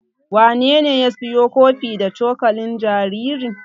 Wanene ya siyo kofi da cokalin jaririn?